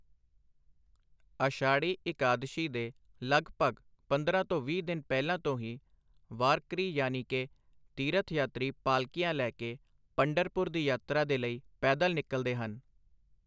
ਆਸ਼ਾੜੀ ਇਕਾਦਸ਼ੀ ਦੇ ਲਗਭਗ ਪੰਦਰਾਂ ਤੋ ਵੀਹ ਦਿਨ ਪਹਿਲਾਂ ਤੋ ਹੀ ਵਾਰਕਰੀ ਯਾਨੀਕੇ ਤੀਰਥ ਯਾਤਰੀ ਪਾਲਕੀਆਂ ਲੈ ਕੇ ਪੰਢਰਪੁਰ ਦੀ ਯਾਤਰਾ ਦੇ ਲਈ ਪੈਦਲ ਨਿਕਲਦੇ ਹਨ।